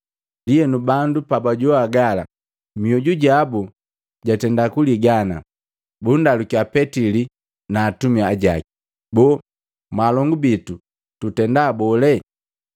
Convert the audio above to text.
Ndienu, bandu pabajogwa gala, mioju jabu jatenda kuligana, bundalukia Petili na atumi ajaki, “Boo mwaalongu bitu tutenda bole?”